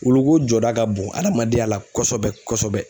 Wuluko jɔda ka bon adamadenya la kosɛbɛ kosɛbɛ